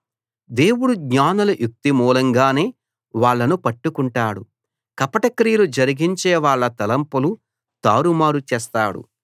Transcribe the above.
దేవుడు జ్ఞానుల యుక్తి మూలంగానే వాళ్ళను పట్టుకుంటాడు కపట క్రియలు జరిగించేవాళ్ళ తలంపులు తారుమారు చేస్తాడు